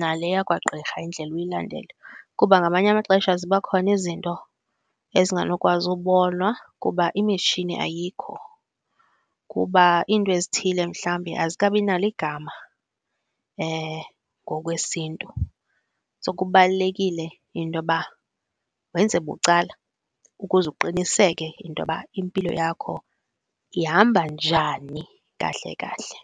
nale yakwagqirha indlela uyilandele. Kuba ngamanye amaxesha ziba khona izinto ezinganokwazi ukubonwa kuba imitshini ayikho, kuba iinto ezithile mhlawumbi azikabinalo igama ngokwesintu. So kubalulekile intoba wenze bucala ukuze uqiniseke intoba impilo yakho ihamba njani kahle kahle.